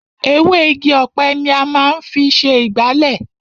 Ewé Igi ọ̀pẹ ni a máa ń fi ṣe ìgbálẹ̀.